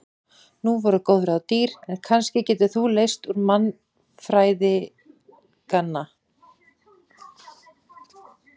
Nú voru góð ráð dýr en kannski getur þú leyst úr vanda mannfræðinganna.